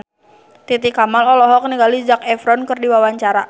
Titi Kamal olohok ningali Zac Efron keur diwawancara